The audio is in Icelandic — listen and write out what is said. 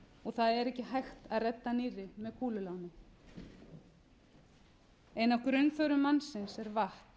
og það er ekki hægt að redda nýrri með kúlulánum ein af grunnþörfum mannsins er vatn